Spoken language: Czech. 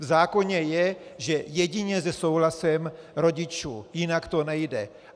V zákoně je, že jedině se souhlasem rodičů, jinak to nejde.